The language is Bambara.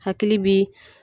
Hakili bi